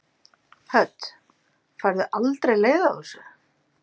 Hödd: Færðu aldrei leið á þessu?